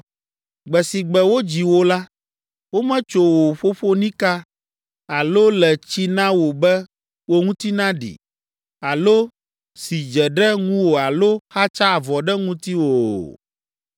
Gbe si gbe wodzi wò la, wometso wò ƒoƒonika, alo le tsi na wò be wò ŋuti naɖi, alo si dze ɖe ŋuwò alo xatsa avɔ ɖe ŋutiwò o.